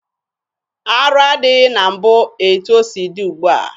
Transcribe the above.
Arụ adịghị na mbụ etu o si dị ugbua.